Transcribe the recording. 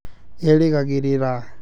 erĩgagĩrĩra